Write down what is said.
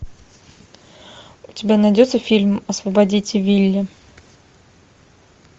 у тебя найдется фильм освободите вилли